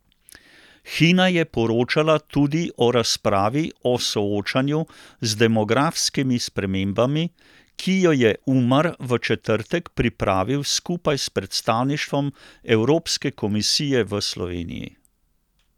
Hina je poročala tudi o razpravi o soočanju z demografskimi spremembami, ki jo je Umar v četrtek pripravil skupaj s predstavništvom Evropske komisije v Sloveniji.